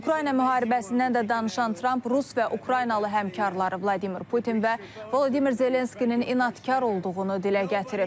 Ukrayna müharibəsindən də danışan Tramp Rus və Ukraynalı həmkarları Vladimir Putin və Vladimir Zelenskinin inadkar olduğunu dilə gətirib.